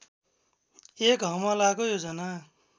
एक हमलाको योजना